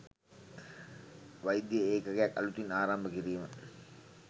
වෛද්‍ය ඒකකයක් අලුතින් ආරම්භ කිරීම